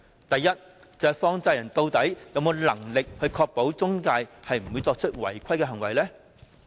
第一，放債人究竟有否能力確保中介公司不會作出違規的行為呢？